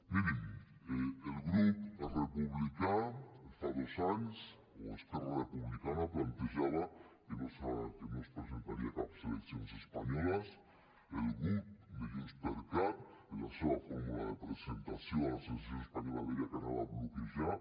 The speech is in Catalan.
mirin el grup republicà fa dos anys o esquerra republicana plantejava que no es presentaria a cap eleccions espanyoles el grup de junts per cat en la seva fórmula de presentació a les eleccions espanyoles deia que anava a bloquejar